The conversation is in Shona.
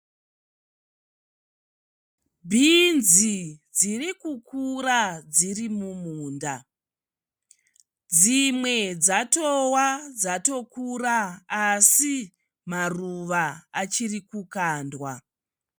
Bhinzi dzirikukura dzirimumunda dzimwe dzatowa dzatokura asi maruva achirikukandwa.